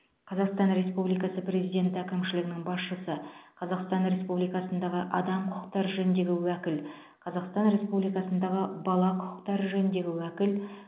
қазақстан республикасы президенті әкімшілігінің басшысы қазақстан республикасындағы адам құқықтары жөніндегі уәкіл қазақстан республикасындағы бала құқықтары жөніндегі уәкіл